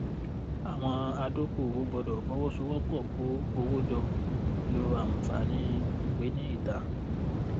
àwọn adókòwò gbọdọ fọwọsowọpọ kó owó jọ lo àǹfààní ìwé ní ìta